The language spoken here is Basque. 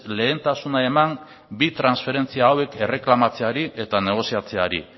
lehentasuna eman bi transferentzia hauek erreklamatzeari eta negoziatzeari